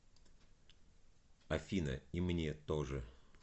афина и мне тоже